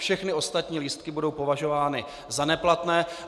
Všechny ostatní lístky budou považovány za neplatné.